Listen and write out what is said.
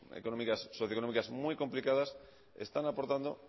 económicas socioeconómicas muy complicadas están aportando